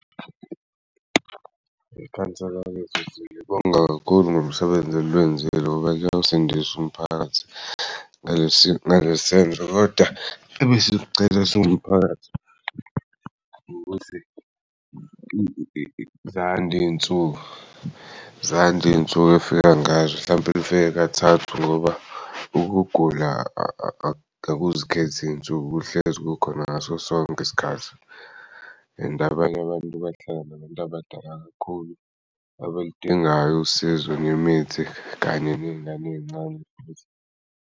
Ikhansela lethu ngilibonga kakhulu ngomsebenzi eliwenzile ngoba kuyawusindisa umphakathi ngalesenzo kodwa ebesikucela singumphakathi ukuthi zande iy'nsuku zande iy'nsuku efika ngazo mhlawumpe lifike kathathu ngoba ukugula akuzikheth'iy'nsuku kuhlezi kukhona ngaso sonk'isikhathi and abanye abantu bahlala nabantu abadala kakhulu abaludingayo usizo nemithi kanye ney'ngane ey'ncane .